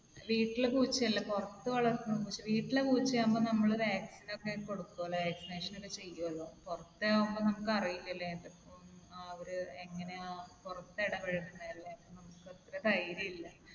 വീട്ടിലെ പൂച്ചയല്ല. പുറത്ത് വളരുന്ന പൂച്ച. വീട്ടിലെ പൂച്ചയാകുമ്പോൾ നമ്മൾ vaccine ഒക്കെ കൊടുക്കുമല്ലോ. vaccination ഒക്കെ ചെയ്യുമല്ലോ. പുറത്തെ ആകുമ്പോൾ നമുക്ക് അറിയില്ലാലോ ഏതൊക്കെ അവർ എങ്ങനെയാ പുറത്ത് ഇടപെഴുകുന്നതെന്ന്. നമുക്ക് അത്ര ധൈര്യമില്ല.